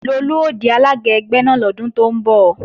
Lolú ó di alága ẹgbẹ́ náà lọ́dún tó ń bọ̀